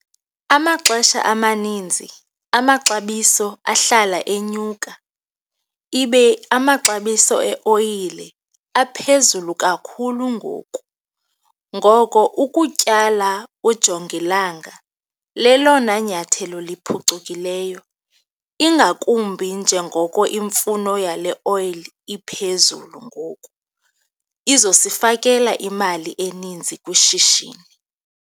Amaxesha amaninzi amaxabiso ahlala enyuka ibe amaxabiso eoyile aphezulu kakhulu ngoku. Ngoko ukutyala ujongilanga lelona nyathelo liphucukileyo ingakumbi njengoko imfuno yale oyile iphezulu ngoku, izosifakela imali eninzi kwishishini.